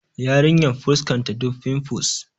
Yarinyar fuskanta duk finfus